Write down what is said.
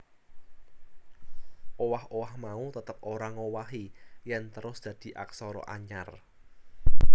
Owah owah mau tetep ora ngowahi yèn terus dadi aksara anyar